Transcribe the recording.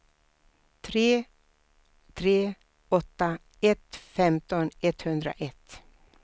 tre tre åtta ett femton etthundraett